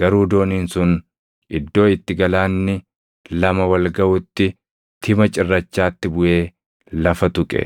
Garuu dooniin sun iddoo itti galaanni lama wal gaʼutti tima cirrachaatti buʼee lafa tuqe.